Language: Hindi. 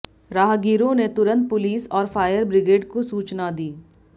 राहगिरों ने तुरंत पुलिस और फायर ब्रिगेड को सूचना दी